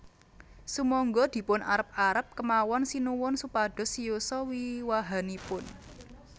Sumangga dipun arep arep kemawon Sinuwun supados siyosa wiwahanipun